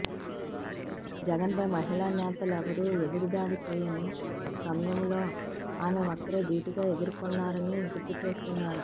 జగన్పై మహిళా నేతలెవరూ ఎదురుదాడి చేయని సమయంలో ఆమె ఒక్కరే ధీటుగా ఎదుర్కొన్నారని గుర్తు చేస్తున్నారు